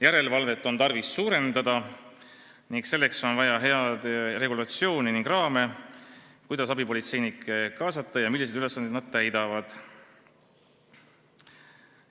Järelevalvet on tarvis suurendada, selleks on vaja head regulatsiooni ning raame, kuidas abipolitseinikke kaasata, ja peab olema selge, milliseid ülesandeid nad täitma peaksid.